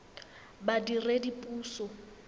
badiredipuso